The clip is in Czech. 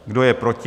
Kdo je proti?